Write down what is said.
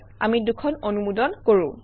আমি দুখন অনুমোদন কৰোঁ